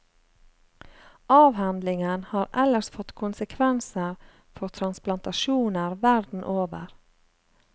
Avhandlingen har ellers fått konsekvenser for transplantasjoner verden over.